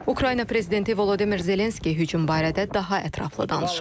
Ukrayna prezidenti Volodimir Zelenski hücum barədə daha ətraflı danışıb.